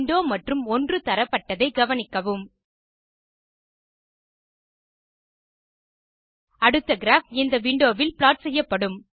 window மற்றும் 1 தரப்பட்டதை கவனிக்கவும் அடுத்த கிராப் இந்த விண்டோ வில் ப்ளாட் செய்யப்படும்